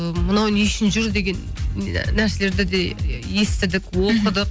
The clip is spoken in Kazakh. мынау не үшін жүр деген нәрселерді де естідік оқыдық